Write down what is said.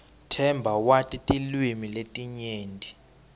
themba wati tilwimi letinyenti